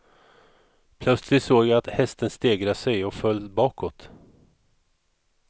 Plötsligt såg jag att hästen stegrade sig och föll bakåt.